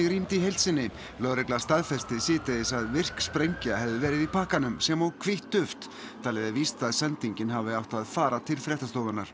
rýmd í heild sinni lögregla staðfesti síðdegis að virk sprengja hefði verið í pakkanum sem og hvítt duft talið er víst að sendingin hafi átt að fara til fréttastofunnar